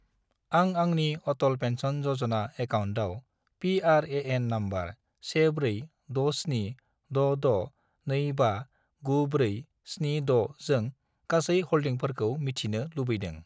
आं आंनि अटल पेन्सन य'जना एकाउन्टआव पि.आर.ए.एन. नम्बर 146766259476 जों गासै हल्डिंफोरखौ मिथिनो लुबैदों।